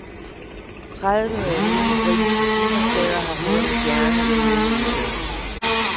Tredive nye britiske spisesteder har fået en stjerne i den nye udgave.